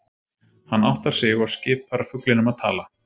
Hann áttar sig og skipar fuglinum að tala.